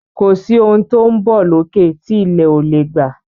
Kọ sí òún tó ń bó lókè tí ilé o lẹ gbà